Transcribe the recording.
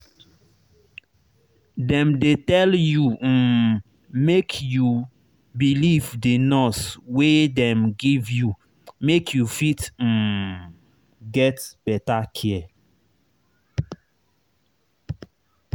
dem dey tell you um make you believe the nurse wey dem give you make you fit um get better care